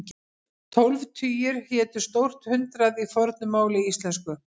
Tólf tugir hétu stórt hundrað í fornu máli íslensku.